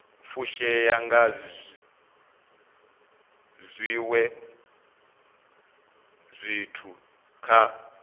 fushea nga zwiwe zwithu kha